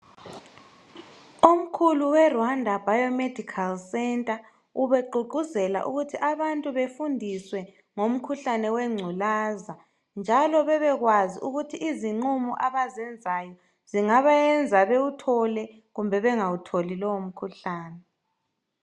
Omkhulu we Rwanda biomedical center ubegqugquzela ukuthi abantu befundiswe ngomkhuhlane wengculaza njalo bebekwazi ukuthi izinqumo abazenzayo zingabayenza bewuthole kumbe bengawutholi lowo mkhuhlane.